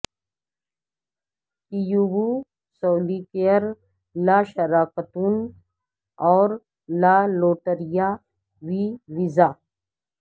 کیوبو سولیکیئر لا شراکتون اور لا لوٹریا وی ویزا